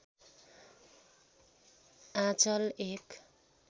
आँचल एक